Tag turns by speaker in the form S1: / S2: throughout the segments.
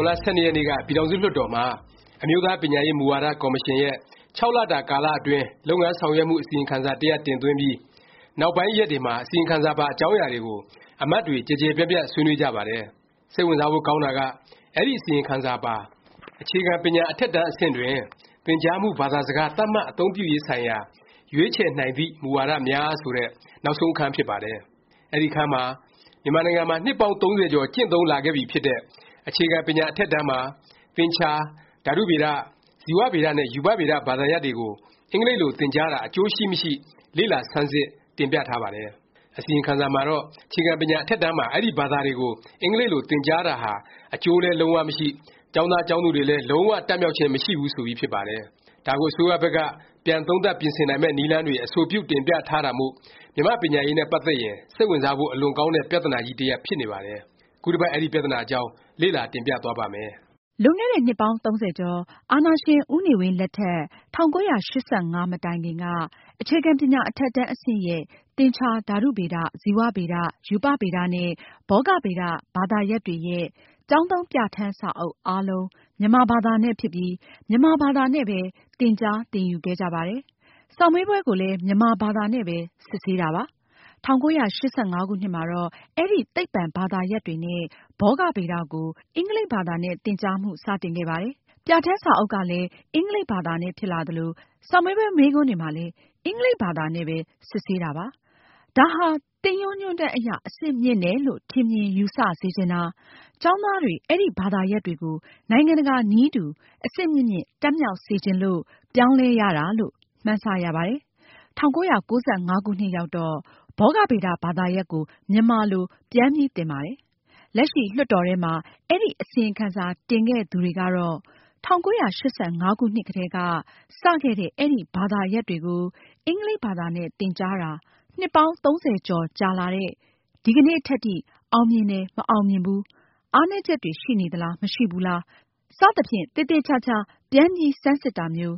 S1: န်လ ၁၂ ရက်နေ့က ပြည်ထောင်စုလွှတ်တော်မှာ အမျိုးသား ပညာရေးမူဝါဒ ကော်မရှင်ရဲ့ ၆ လတာ ကာလအတွင်း လုပ်ငန်းဆောင်ရွက်မှု အစီရင်ခံစာ တရပ် တင်သွင်းပြီး နောက်ပိုင်းရက်တွေမှာ အစီရင်ခံစာပါ အကြောင်းအရာတွေကို အမတ်တွေ ကျယ်ကျယ်ပြန့်ပြန့် ဆွေးနွေးကြပါတယ်။ စိတ်ဝင်စားဖို့ ကောင်းတာက အဲဒီ အစီရင်ခံစာပါ “အခြေခံပညာ အထက်တန်း အဆင့်တွင် သင်ကြားမှု ဘာသာစကား သတ်မှတ်အသုံးပြုရေးဆိုင်ရာ ရွေးချယ်နိုင်သည့် မူဝါဒ များ”ဆိုတဲ့ နောက်ဆုံး အခန်းဖြစ်ပါတယ်။ အဲဒီအခန်းမှာ မြန်မာနိုင်ငံမှာ နှစ်ပေါင်း ၃၀ ကျော် ကျင့်သုံးလာခဲ့ပြီဖြစ်တဲ့ အခြေခံပညာ အထက်တန်းမှာ သင်္ချာ၊ ဓာတုဗေဒ၊ ဇီဝဗေဒ နဲ့ ရူပဗေဒ ဘာသာရပ်တွေကို အင်္ဂလိပ်လို သင်ကြားတာ အကျိုးရှိမရှိ လေ့လာဆန်းစစ် တင်ပြထားပါတယ်။ အစီရင်ခံစာမှာတော့ အခြေခံပညာ အထက်တန်းမှာ အဲဒီ ဘာသာတွေကို အင်္ဂလိပ်လို သင်ကြားတာဟာ အကျိုးလည်း လုံး၀ မရှိ၊ ကျောင်းသားကျောင်းသူတွေလည်း လုံး၀ တတ်မြောက်ခြင်း မရှိဘူးဆိုပြီးဖြစ်ပါတယ်။ ဒါကို အစိုးရဘက်က ပြန်သုံးသပ် ပြင်ဆင်နိုင်မယ့် နည်းလမ်းတွေ အဆိုပြု တင်ပြထားတာမို့ မြန်မာ့ပညာရေးနဲ့ ပတ်သက်ရင် စိတ်ဝင်စားဖို့ အလွန်ကောင်းတဲ့ ပြသနာကြီး တရပ် ဖြစ်နေပါတယ်။ ခုတပတ် အဲဒီပြသနာအကြောင်း လေ့လာ တင်ပြသွားပါ့မ
S2: ယ်။ လွန်ခဲ့တဲ့ နှစ်ပေါင်း ၃၀ ကျော် အာဏာရှင် ဦးနေဝင်း လက်ထက် ၁၉၈၅ မတိုင်ခင်က အခြေခံပညာ အထက်တန်း အဆင့်ရဲ့ သင်္ချာ၊ ဓာတုဗေဒ၊ ဇီဝဗေဒ၊ ရူပဗေဒ နဲ့ ဘောဂဗေဒ ဘာသာရပ်တွေရဲ့ ကျောင်းသုံး ပြဌာန်းစာအုပ် အားလုံး မြန်မာဘာသာနဲ့ ဖြစ်ပြီး မြန်မာဘာသာနဲ့ပဲ သင်ကြား သင်ယူခဲ့ကြပါတယ်။ စာမေးပွဲကိုလည်း မြန်မာဘာသာနဲ့ပဲ စစ်ဆေးတာပါ။ ၁၉၈၅ ခုနှစ်မှာတော့ အဲဒီ သိပ္ပံဘာသာရပ်တွေနဲ့ ဘောဂဗေဒ ကို အင်္ဂလိပ်ဘာသာနဲ့ သင်ကြားမှု စတင်ခဲ့ပါတယ်။ ပြဌာန်းစာအုပ်ကလည်း အင်္ဂလိပ်ဘာသာနဲ့ ဖြစ်လာသလို၊ စာမေးပွဲ မေးခွန်းတွေမှာလည်း အင်္ဂလိပ်ဘာသာနဲ့ပဲ စစ်ဆေးတာပါ။ ဒါဟာ သင်ရိုးညွှန်းတန်းအရ အဆင့်မြင့်တယ်လို့ ထင်မြင်ယူဆစေချင်တာ၊ ကျောင်းသားတွေ အဲဒီဘာသာရပ်တွေကို နိုင်ငံတကာနည်းတူ အဆင့်မြင့်မြင့် တတ်မြောက်စေချင်လို့ ပြောင်းလဲရတာလို့ မှန်းဆ ရပါတယ်။ ၁၉၉၅ ခုနှစ်ရောက်တော့ ဘောဂဗေဒ ဘာသာရပ်ကို မြန်မာလို ပြန်ပြီး သင်ပါတယ်။ လက်ရှိ လွှတ်တော်ထဲမှာ အစီရင်ခံစာ တင်ခဲ့သူတွေကတော့ ၁၉၈၅ ခုနှစ်ကတည်းက စ ခဲ့တဲ့ အဲဒီ ဘာသာရပ်တွေကို အင်္ဂလိပ်ဘာသာနဲ့ သင်ကြားတာ နှစ်ပေါင်း ၃၀ ကျော်ကြာလာတဲ့ ဒီကနေ့ထက်ထိ အောင်မြင်တယ်၊ မအောင်မြင်ဘူး၊ အားနည်းချက်တွေ ရှိနေသလား၊ မရှိဘူးလား၊ စသဖြင့် သေသေခြာခြာ ပြန်ပြီး ဆန်းစစ်တာမျိုး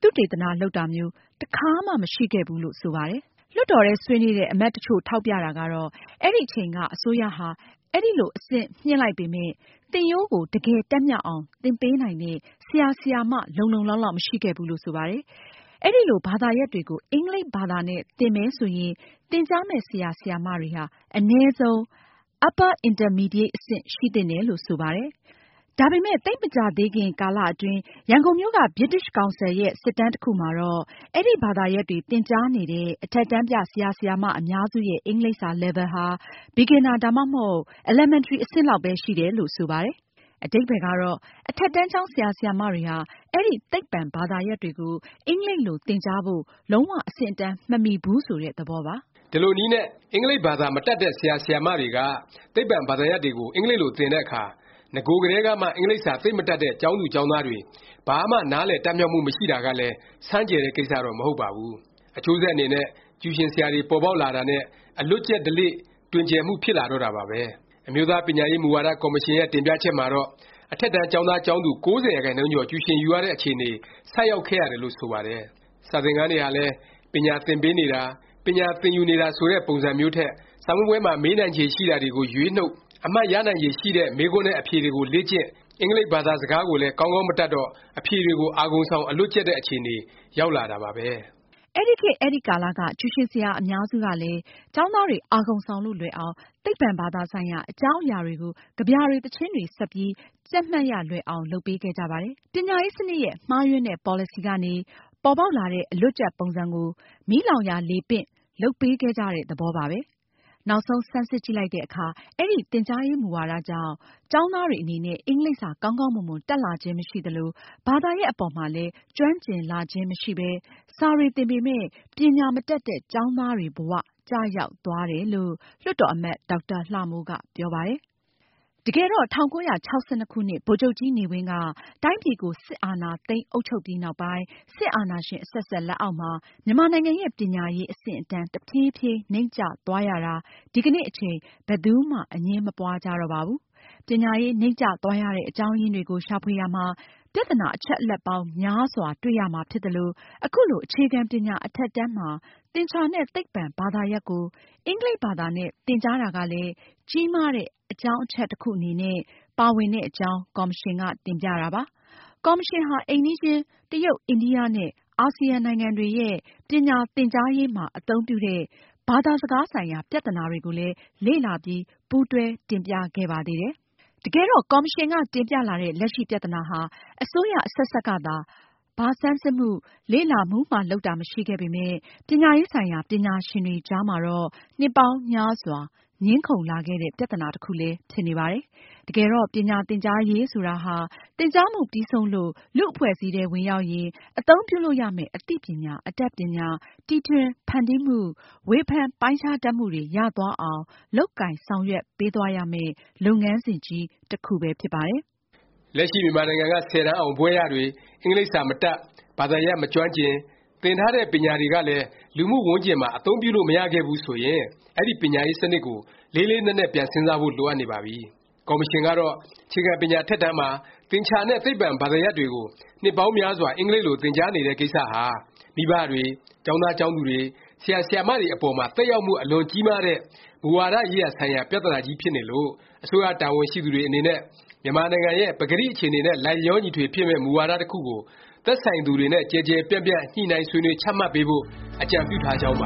S2: ၊ သုတေသန လုပ်တာမျိုး တခါမှ မရှိခဲ့ဘူးလို့ ဆိုပါတယ်။ လွှတ်တော်ထဲ ဆွေးနွေးတဲ့ အမတ်တချို့ ထောက်ပြတာကတော့ အဲဒီအချိန်က အစိုးရဟာ အဲလို အဆင်မြှင့်လိုက်ပေမယ့် သင်ရိုးကို တကယ်တတ်မြောက်အောင် သင်ပေးနိုင်တဲ့ ဆရာ၊ ဆရာမ လုံလုံလောက်လောက် မရှိခဲ့ဘူးလို့ ဆိုပါတယ်။ အဲလို ဘာသာရပ်တွေကို အင်္ဂလိပ်ဘာသာနဲ့ သင်မယ် ဆိုရင် သင်ကြားမယ့် ဆရာ၊ ဆရာမတွေဟာ အနည်းဆုံး Upper Intermediate အဆင့် ရှိသင့်တယ်လို့ ဆိုပါတယ်။ ဒါပေမယ့် သိပ်မကြာသေးခင် ကာလ အတွင်း ဗြိတိသျှ ကောင်စီရဲ့ စစ်တမ်းတခုမှာတော့ အဲဒီဘာသာရပ်တွေ သင်ကြားနေတဲ့ အထက်တန်းပြ ဆရာ ဆရာမ အများစုရဲ့ အင်္ဂလိပ်စာ Level ဟာ Beginner ဒါမှမဟုတ် Elementary အဆင့်လောက်ပဲ ရှိတယ်လို့ ဆိုပါတယ်။ အဓိပ္ပါယ်ကတော့ အထက်တန်းကျောင်း ဆရာဆရာမတွေဟာ အဲဒီ သိပ္ပံ ဘာသာရပ်တွေကို အင်္ဂလိပ်လို သင်ကြားဖို့ လုံး၀ အဆင့်အတန်း မမီဘူး ဆိုတဲ့ သဘောပါ။
S1: ဒီလိုနည်းနဲ့ အင်္ဂလိပ်ဘာသာ မတတ်တဲ့ ဆရာ ဆရာမတွေက သိပ္ပံ ဘာသာရပ်တွေကို အင်္ဂလိပ်လို သင်တဲ့အခါ နဂိုကတည်းကမှ အင်္ဂလိပ်စာ သိပ်မတတ်တဲ့ ကျောင်းသူကျောင်းသားတွေ ဘာမှ နားလည် တတ်မြောက်မှု မရှိတာကလည်း ဆန်းကြယ်တဲ့ ကိစ္စတော့ မဟုတ်ပါဘူး။ အကျိုးဆက် အနေနဲ့ ကျူရှင်ဆရာတွေ ပေါ်ပေါက်လာတာနဲ့ အလွတ်ကျက် ဓလေ့ တွင်ကျယ်မှု ဖြစ်လာတော့တာပါပဲ။ အမျိုးသား ပညာရေး မူဝါဒ ကော်မရှင်ရဲ့ တင်ပြချက်မှာတော့ အထက်တန်း ကျောင်းသား ကျောင်းသူ ၉၀ ရာခိုင်နှုန်းကျော် ကျူရှင်ယူရတဲ့ အခြေအနေ ဆိုက်ရောက်ခဲ့ရတယ်လို့ ဆိုပါတယ်။ စာသင်ခန်းတွေဟာလည်း ပညာသင်ပေးနေတာ၊ ပညာသင်ယူနေတာ ဆိုတဲ့ ပုံစံမျိုးထက် စာမေးပွဲမှာ မေးနိုင်ခြေရှိတာတွေကို ရွေးနှုတ်၊ အမှတ်ရနိုင်ခြေ ရှိတဲ့ မေးခွန်းနဲ့ အဖြေတွေကို လေ့ကျင့်၊ အင်္ဂလိပ်ဘသာစကားကိုလည်း ကောင်းကောင်း မတတ်တော့ အဖြေတွေကို အာဂုံဆောင် အလွတ်ကျက် တဲ့ အခြေအနေ ရောက်လာတာပါပဲ။
S2: အဲဒီခေတ် အဲဒီကာလက ကျူရှင်ဆရာ အများစုကလည်း ကျောင်းသားတွေ အာဂုံဆောင်လို့ လွယ်အောင် သိပ္ပံဘာသာဆိုင်ရာ အကြောင်းအရာတွေကို ကဗျာတွေ၊ သီချင်းတွေ စပ်ပြီး ကျက်မှတ်ရလွယ်အောင် လုပ်ပေးခဲ့ကြပါတယ်။ ပညာရေး စနစ်ရဲ့ မှားယွင်းတဲ့ ပေါ်လစီကနေ ပေါ်ပေါက်လာတဲ့ အလွတ်ကျက် ပုံစံကို မီးလောင်ရာလေပင့် လုပ်ပေးခဲ့ကြတဲ့ သဘောပါပဲ။ နောက်ဆုံး ဆန်းစစ်ကြည့်လိုက်တဲ့အခါ အဲဒီ သင်ကြားရေး မူဝါကြောင့် ကျောင်းသားတွေ အနေနဲ့ အင်္ဂလိပ်စာ ကောင်းကောင်းမွန်မွန် တတ်လာခြင်း မရှိသလို၊ ဘာသာရပ် အပေါ်မှာလည်း ကျွမ်းကျင်လာခြင်း မရှိပဲ စာတွေ သင်ပေမယ့် ပညာမတတ်တဲ့ ကျောင်းသားတွေ ဘ၀ ကျရောက်သွားတယ်လို့ လွှတ်တော်အမတ် ဒေါက်တာ လှမိုးက ပြောပါတယ်။ တကယ်တော့ ၁၉၆၂ ခုနှစ် ဗိုလ်ချုပ်ကြီးနေဝင်းက တိုင်းပြည်ကို စစ်အာဏာသိမ်း အုပ်ချုပ်ပြီးနောက်ပိုင်း စစ်အာဏာရှင် အဆက်ဆက် လက်အောက်မှာ မြန်မာနိုင်ငံရဲ့ ပညာရေး အဆင့်အတန်း တဖြေးဖြေး နိမ့်ကျသွားရတာ ဒီကနေ့အချိန် ဘယ်သူမှ အငြင်းမပွားကြတော့ပါဘူး။ ပညာရေး နိမ့်ကျသွားရတဲ့ အကြောင်းရင်းတွေကို ရှာဖွေရာမှာ ပြသနာ အချက်အလက်ပေါင်း များစွာ တွေ့ရမှာ ဖြစ်သလို၊ အခုလို အခြေခံ ပညာ အထက်တန်းမှာ သင်္ချာနဲ့ သိပ္ပံ ဘာသာရပ်ကို အင်္ဂလိပ်ဘာသာနဲ့ သင်ကြားတာကလည်း ကြီးမားတဲ့ အကြောင်းအချက် တခု အနေနဲ့ ပါဝင်တဲ့အကြောင်း ကော်မရှင်က တင်ပြတာပါ။ ကော်မရှင်ဟာ အိမ်နီးချင်း တရုတ်၊ အိန္ဒိယ နဲ့ အာဆီယံနိုင်ငံတွေရဲ့ ပညာသင်ကြားရေးမှာ အသုံးပြုတဲ့ ဘာသာစကား ဆိုင်ရာ ပြသနာတွေကိုလည်း လေ့လာပြီး ပူးတွဲ တင်ပြခဲ့ပါသေးတယ်။ တကယ်တော့ ကော်မရှင်က တင်ပြလာတဲ့ လက်ရှိပြသနာဟာ အစိုးရ အဆက်ဆက်ကသာ ဘာဆန်းစစ်မှု၊ လေ့လာမှုမှ လုပ်တာ မရှိခဲ့ပေမယ့် ပညာရေးဆိုင်ရာ ပညာရှင်တွေကြားမှာတော့ နှစ်ပေါင်းများစွာ ငြင်းခုံလာခဲ့တဲ့ ပြသနာ တခုလည်း ဖြစ်နေပါတယ်။ တကယ်တော့ ပညာသင်ကြားရေး ဆိုတာဟာ သင်ကြားမှု ပြီးဆုံးလို့ လူ့အဖွဲ့အစည်းထဲ ဝင်ရောက်ရင် အသုံးပြုလို့ရမယ့် အသိအညာ၊ အတတ်ပညာ၊ တီထွင်ဖန်တီးမှု၊ ဝေဖန်ပိုင်းခြားတတ်မှုတွေ ရသွားအောင် လုပ်ကိုင်ဆောင်ရွက်ပေးရမယ့် လုပ်ငန်းစဉ်ကြီး တခုပဲ ဖြစ်ပါတယ်
S1: ။ လက်ရှိ မြန်မာနိုင်ငံက ၁၀တန်းအောင်၊ ဘွဲ့ရတွေ အင်္ဂလိပ်စာမတတ်၊ ဘာသာရပ် မကျွမ်းကျင်၊ သင်ထားတဲ့ ပညာတွေကလည်း လူမှုဝန်းကျင်မှာ အသုံးပြုလို့ မရ ခဲ့ဘူးဆိုရင် အဲဒီ ပညာရေးစနစ်ကို လေးလေးနက်နက် ပြန်စဉ်းစားဖို့ လိုအပ်နေပါပြီ။ ကော်မရှင်ကတော့ အခြေခံပညာ အထက်တန်းမှာ သင်္ချာနဲ့ သိပ္ပံ ဘာသာရပ်တွေကို နှစ်ပေါင်းများစွာ အင်္ဂလိပ်လို သင်ကြားနေတဲ့ကိစ္စဟာ မိဘတွေ၊ ကျောင်းသား ကျောင်းသူတွေ၊ ဆရာ ဆရာမတွေ အပေါ်မှာ သက်ရောက်မှု အလွန် ကြီးမားတဲ့ မူဝါဒ ရေးရာဆိုင်ရာ ပြသနာကြီးဖြစ်နေလို့၊ အစိုးရ တာဝန်ရှိသူတွေ အနေနဲ့ မြန်မာနိုင်ငံ ရဲ့ ပကတိ အခြေအနေနဲ့ လိုက်လျောညီထွေဖြစ်မယ့် မူဝါဒ တခုကို သက်ဆိုင်သူတွေနဲ့ ကျယ်ကျယ်ပြန့်ပြန့် ညှိနှိုင်းဆွေးနွေး ချမှတ်ပေးဖို့ အကြံပြုထားကြောင်းပ